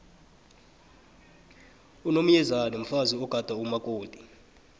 unomyezane mfazi ogada umakoti